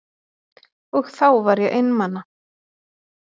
Og þá var ég einmana.